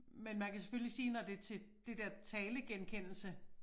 Men man kan selvfølgelig sige når det til det der talegenkendelse